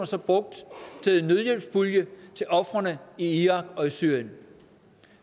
så brugt til en nødhjælpspulje til ofrene i irak og syrien